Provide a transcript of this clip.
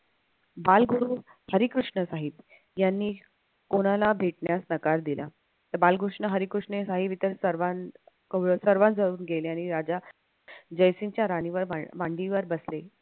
बाळ गुरु हरिकृष्ण साहेब यांनी कोणाला भेटण्यास नकार दिला तर बाळकृष्ण हरिकृष्ण सर्वांजवळून गेल्याने राजा जयसिंगच्या राणीवर मांडीवर बसले.